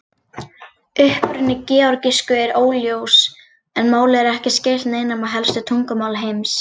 Uppruni georgísku er óljós en málið er ekki skylt neinum af helstu tungumálum heims.